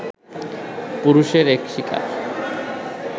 পুরুষের এক শিকার